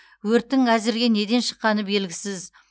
өрттің әзірге неден шыққаны белгісіз